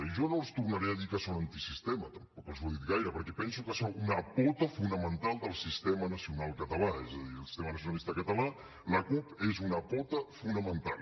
i jo no els tornaré a dir que són antisistema tampoc els ho he dit gaire perquè penso que sou una pota fonamental del sistema nacional català és a dir al sistema nacionalista català la cup és una pota fonamental